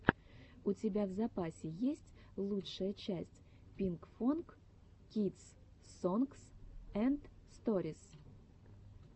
у тебя в запасе есть лучшая часть пинкфонг кидс сонгс энд сторис